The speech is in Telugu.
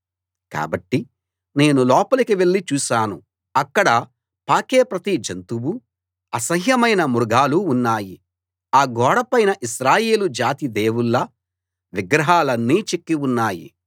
కాబట్టి నేను లోపలికి వెళ్ళి చూశాను అక్కడ పాకే ప్రతి జంతువూ అసహ్యమైన మృగాలూ ఉన్నాయి ఆ గోడపైన ఇశ్రాయేలు జాతి దేవుళ్ళ విగ్రహాలన్నీ చెక్కి ఉన్నాయి